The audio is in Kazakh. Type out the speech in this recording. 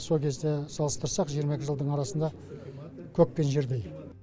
сол кезде салыстырсақ жиырма екі жылдың арасында көк пен жердей